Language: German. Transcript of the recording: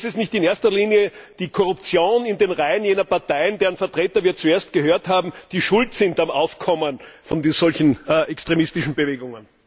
Aber ist es nicht in erster Linie die Korruption in den Reihen jener Parteien, deren Vertreter wir zuerst gehört haben, die schuld sind am Aufkommen von solchen extremistischen Bewegungen?